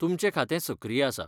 तुमचें खातें सक्रिय आसा.